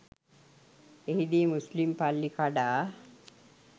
එහිදී මුස්ලිම් පල්ලි කඩා